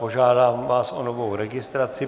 Požádám vás o novou registraci.